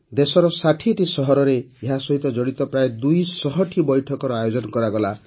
ଦେଶର ୬୦ଟି ସହରରେ ଏହା ସହିତ ଜଡ଼ିତ ପ୍ରାୟଃ ୨୦୦ଟି ବୈଠକର ଆୟୋଜନ କରାଗଲା